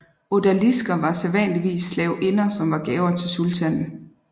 Odalisker var sædvanligvis slavinder som var gaver til sultanen